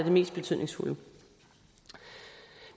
mest betydningsfulde